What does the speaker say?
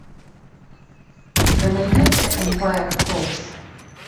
у тебя найдется эмпайр фоллс